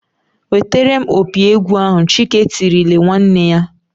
"Wetere m opi egwu ahụ!" Chike tirile nwanne ya.